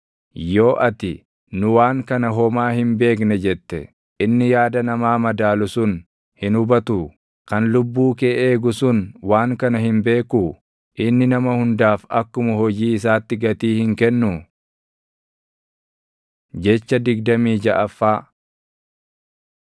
Yoo ati, “Nu waan kana homaa hin beekne” jette, inni yaada namaa madaalu sun hin hubatuu? Kan lubbuu kee eegu sun waan kana hin beekuu? Inni nama hundaaf akkuma hojii isaatti gatii hin kennuu? Jecha digdamii jaʼaffaa